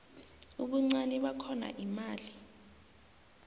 ubuncani bakhona imali